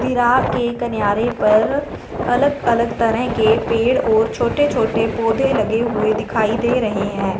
बिरया के कनयारे पर अलग अलग तरह के पेड़ और छोटे छोटे पोधै लगे हुए दिखाई दे रहे है।